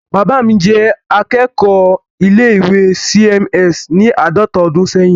Bàbá mi jẹ́ akẹ́kọ̀ọ́ ilé-ìwé C.M.S. ní àádọta ọdún ṣẹ́yìn.